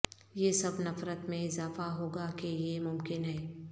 یہ سب نفرت میں اضافہ ہو گا کہ یہ ممکن ہے